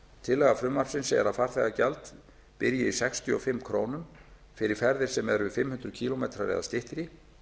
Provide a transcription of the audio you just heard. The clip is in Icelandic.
tillaga frumvarpsins er að farþegagjald byrji í sextíu og fimm krónur fyrir ferðir sem eru fimm hundruð kílómetra eða styttri